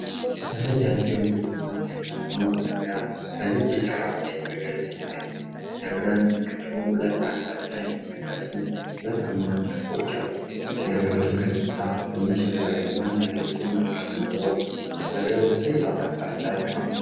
ረጃጅም ቡናማ እንጨት ያለዉ መጥረቢያ በነጭ ዳራ ላይ በግልጽ ይታያል። የብረት ክፍሉ ሁለት አቅጣጫዎችን የሚመለከቱ ስለታም ጫፎች አሉት። የብረቱ ገጽታ ትንሽ የዛገና ያረጀ መልክ ሲኖረው፣ መጥረቢያው በሰያፍ አቅጣጫ ተቀምጧል።